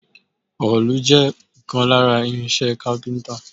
Òòlù jẹ́ ìkan lára irin-iṣẹ́ iṣẹ́ káfíńńtà.